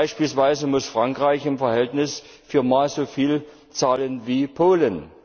Beispielsweise muss Frankreich im Verhältnis viermal so viel zahlen wie Polen.